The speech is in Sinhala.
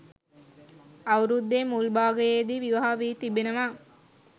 අවුරුද්දේ මුල් භාගයේදී විවාහ වී තිබෙනවා